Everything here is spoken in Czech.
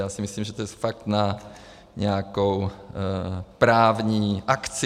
Já si myslím, že to je fakt na nějakou právní akci.